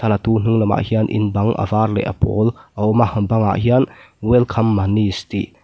a latu hnung lamah hian in bang a var leh a pawl a awm a bangah hian welcome manish tih --